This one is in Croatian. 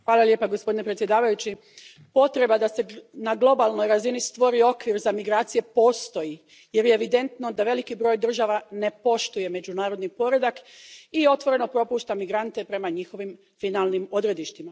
Poštovani predsjedavajući, potreba da se na globalnoj razini stvori okvir za migracije postoji jer je evidentno da veliki broj država ne poštuje međunarodni poredak i otvoreno propušta migrante prema njihovim finalnim odredištima.